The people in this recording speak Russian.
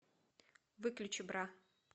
выключи бра